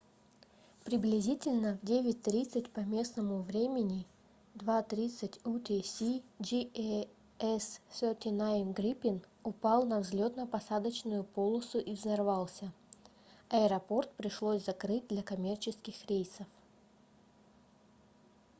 приблизительно в 9:30 по местному времени 02:30 utc jas 39c gripen упал на взлетно-посадочную полосу и взорвался. аэропорт пришлось закрыть для коммерческих рейсов